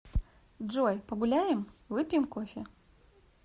джой погуляем выпьем кофе